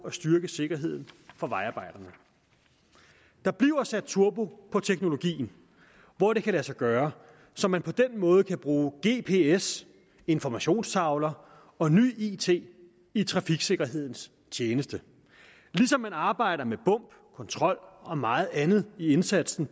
at styrke sikkerheden for vejarbejderne der bliver sat turbo på teknologien hvor det kan lade sig gøre så man på den måde kan bruge gps informationstavler og ny it i trafiksikkerhedens tjeneste ligesom man arbejder med bump kontrol og meget andet i indsatsen